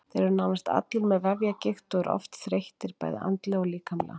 Þeir eru nánast allir með vefjagigt og eru oft þreyttir bæði andlega og líkamlega.